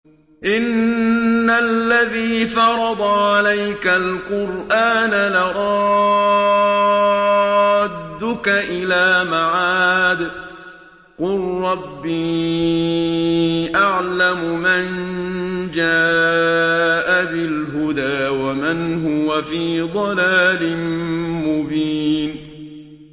إِنَّ الَّذِي فَرَضَ عَلَيْكَ الْقُرْآنَ لَرَادُّكَ إِلَىٰ مَعَادٍ ۚ قُل رَّبِّي أَعْلَمُ مَن جَاءَ بِالْهُدَىٰ وَمَنْ هُوَ فِي ضَلَالٍ مُّبِينٍ